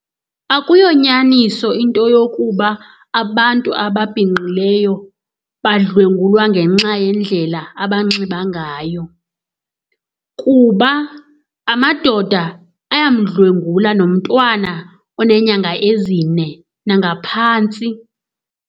Akuyonyaniso into yokuba abantu ababhinqileyo badlwengulwa ngenxa yendlela abanxiba ngayo kuba amadoda ayamdlwengula nomntwana onenyanga ezine nangaphantsi.